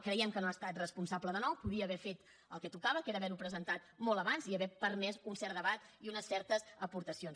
creiem que no ha estat responsable de nou podria haver fet el que tocava que era haver ho presentat molt abans i haver permès un cert debat i unes certes aportacions